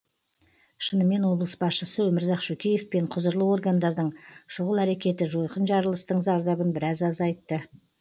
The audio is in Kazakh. шынымен облыс басшысы өмірзақ шөкеев пен құзырлы органдардың шұғыл әрекеті жойқын жарылыстың зардабын біраз азайтты